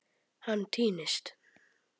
Hann týnist.